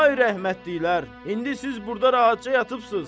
Ay rəhmətliklər, indi siz burda rahatca yatıbsız.